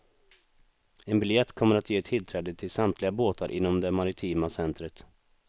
En biljett kommer att ge tillträde till samtliga båtar inom det maritima centret.